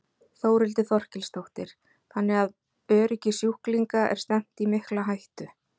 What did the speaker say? Þórhildur Þorkelsdóttir: Þannig að öryggi sjúklinga er stefnt í mikla hættu?